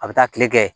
A bɛ taa tile kɛ